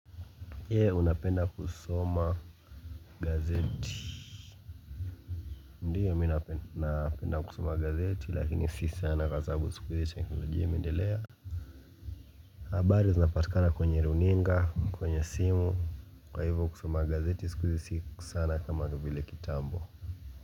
Je, unapenda kusoma gazeti? Ndiyo mi napenda kusoma gazeti lakini si sana kwa sababu siku hizi teknolojia imeendelea habari zinapatikana kwenye runinga, kwenye simu kwa hivyo kusoma gazeti siku hizi si sana kama vile kitambo.